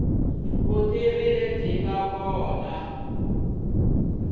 vutivi lebyi nga kona i